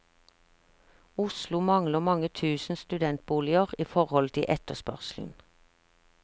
Oslo mangler mange tusen studentboliger i forhold til etterspørselen.